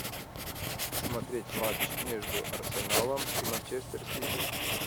смотреть матч между арсеналом и манчестер сити